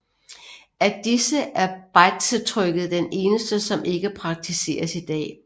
Af disse er bejdsetrykket den eneste som ikke praktiseres i dag